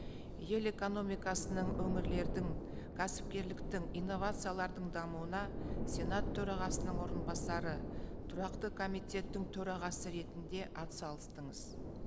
ел экономикасының өңірлердің кәсіпкерліктің инновациялардың дамуына сенат төрағасының орынбасары тұрақты комитеттің төрағасы ретінде атсалыстыңыз